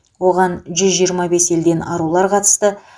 оған жүз жиырма бес елден арулар қатысты